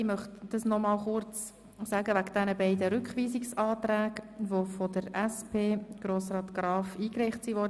Ich möchte noch einmal kurz auf diese beiden Rückweisungsanträge eingehen, die von der SP, von Grossrat Graf, gestellt wurden.